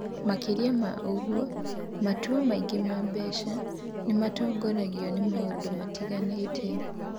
Makĩria ma ũguo, matua megiĩ mbeca nĩ matongoragio nĩ maũndũ matiganĩte.